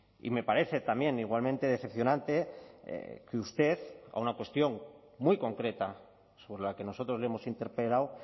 y me parece también igualmente decepcionante que usted a una cuestión muy concreta sobre la que nosotros le hemos interpelado